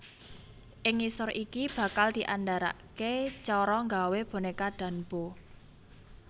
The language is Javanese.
Ing ngisor iki bakal diandharake cara nggawé boneka Danbo